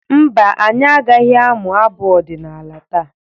Mba, anyị agaghị amụ abụ ọdịnala taa.